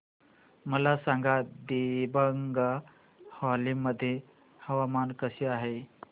मला सांगा दिबांग व्हॅली मध्ये हवामान कसे आहे